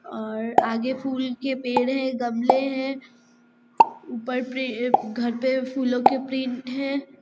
और आगे फूल के पेड़ है गमले है ऊपर पे घर पे फूलो के प्रिंट है।